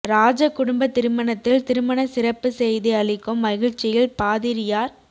ராஜ குடும்ப திருமணத்தில் திருமண சிறப்பு செய்தி அளிக்கும் மகிழ்ச்சியில் பாதிரியார்